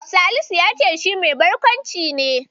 Salisu ya ce shi mai barkwanci ne.